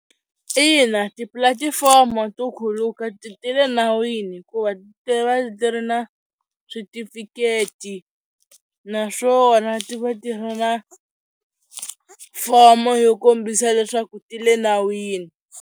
Ina tipulatifomo to khuluka ti le nawini hikuva ti va ti ri na switifiketi naswona ti va ti ri na fomo yo kombisa leswaku ti le nawini.